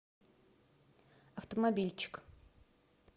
автомобильчик